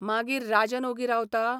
मागीर राजन ओगी रावता?